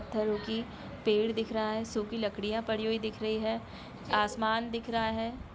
पत्थरों की पेड़ दिख रहा है सुखी लकड़ियां पड़ी हुई दिख रही है आसमान दिख रहा है।